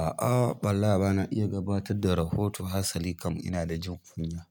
A'a, wallah ba na iya gabatar da rahoto hasali kam ina da jin kunya.